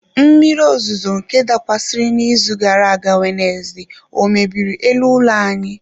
Mmiri ozuzo nke dakwasịrị n'izu gara aga Wenezde ọ mebiri elu ụlọ anyị?